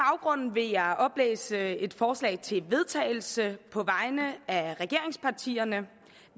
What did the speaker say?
vil jeg oplæse et forslag til vedtagelse på vegne af regeringspartierne